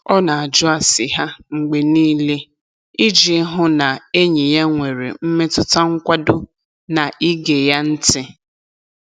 Ọ na-ajụ ase ha mgbe niile iji hụ na enyi ya nwere mmetụta nkwado na ige ya ntị.